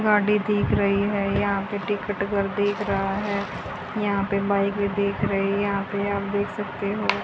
गाड़ी दिख रही है यहां पर टिकट घर दिख रहा है यहां पर बाइक भी दिख रही है यहां पर आप देख सकते हो।